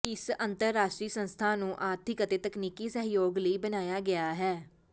ਇਸ ਅੰਤਰਰਾਸ਼ਟਰੀ ਸੰਸਥਾ ਨੂੰ ਆਰਥਿਕ ਅਤੇ ਤਕਨੀਕੀ ਸਹਿਯੋਗ ਲਈ ਬਣਾਇਆ ਗਿਆ ਹੈ